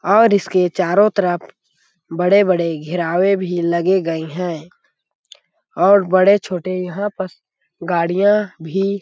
और इसके चारो तरफ बड़े-बड़े घेरावे भी लगे गए है और बड़े-छोटे यहाँ पस गाड़िया भी--